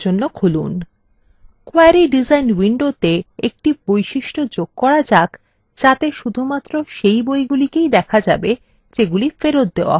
query design window একটি বৈশিষ্ট্য যোগ করা যাক যাতে শুধুমাত্র সেই বইগুলিকে দেখা যাবে যেগুলি ফেরত দেওয়া in